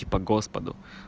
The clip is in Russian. типа господу